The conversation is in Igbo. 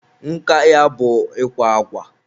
nka ya bụ ikwa akwa.